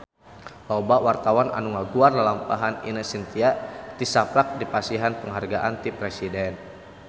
Loba wartawan anu ngaguar lalampahan Ine Shintya tisaprak dipasihan panghargaan ti Presiden